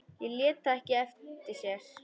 Lét það ekki eftir sér.